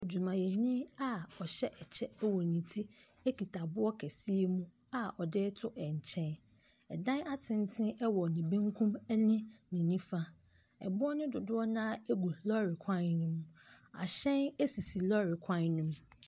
Adwumayɛni a ɔhyɛ kyɛ wɔ ne ti kita aboɔ kɛseɛ mu a ɔde reto nkyɛn, dan atenten wɔ ne bankum ne ne nifa, ɛboɔ no dodoɔ no ara gu lɔɔre kwan ne mu, hyɛn sisi lɔɔre kwan ne mu.